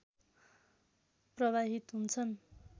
प्रवाहित हुन्छन्